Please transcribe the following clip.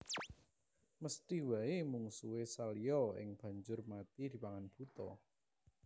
Mesthi waé mungsuhé Salya iya banjur mati dipangan buta